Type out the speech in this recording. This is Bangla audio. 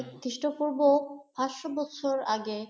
খ্রীস্ট পূর্ব পাঁচশো বছর আগে